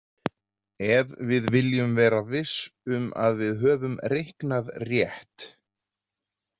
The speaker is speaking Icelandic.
Ef við viljum vera viss um að við höfum reiknað rétt.